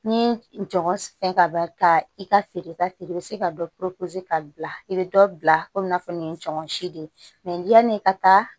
Ni jɔn fɛn fɛn ka i ka feere ka feere i bɛ se ka dɔ ka bila i bɛ dɔ bila komi i n'a fɔ nin tɔnɔ si de ye yani i ka taa